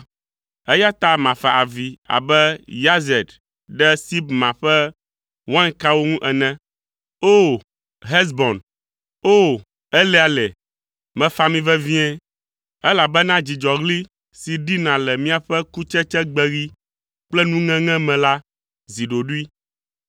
Eya ta mafa avi abe Yazer ɖe Sibma ƒe wainkawo ŋu ene. O! Hesbon, O! Eleale. Mefa mi vevie! Elabena dzidzɔɣli si ɖina le miaƒe kutsetsegbeɣi kple nuŋeŋe me la zi ɖoɖoe.